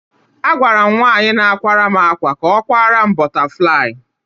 Agwara m nwaanyị na-akwaram akwa ka ọ kwaram "bọtaflaị".